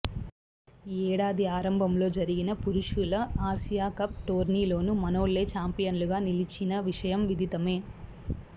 ఈ ఏడాది ఆరంభంలో జరిగిన పురుషుల ఆసియా కప్ టోర్నీలోనూ మనోళ్లే చాంపియన్లుగా నిలిచిన విషయం విదితమే